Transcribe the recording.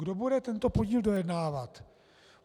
Kdo bude tento podíl dojednávat?